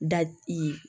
Da i